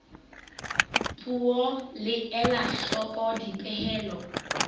puo le ela hloko dipehelo